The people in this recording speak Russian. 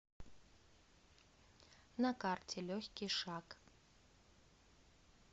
на карте легкий шаг